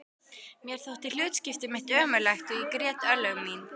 Mér þótti hlutskipti mitt ömurlegt og ég grét örlög mín.